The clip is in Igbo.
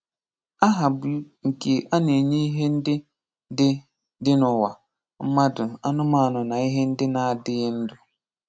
Aha bụ nke a na-enye ihe ndị dị dị n'ụwa; mmadụ, anụmanụ na ihe ndị na-adịghị ndụ